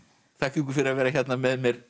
þakka ykkur fyrir að vera hérna með mér